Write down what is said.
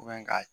ka